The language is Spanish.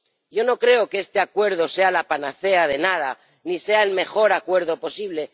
Yo no creo que este Acuerdo sea la panacea de nada ni sea el mejor acuerdo posible.